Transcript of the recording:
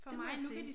Det må jeg sige